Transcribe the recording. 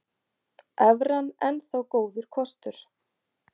Evran enn þá góður kostur